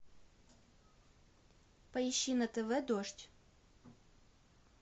поищи на тв дождь